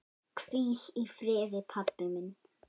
Hvíl í friði, pabbi minn.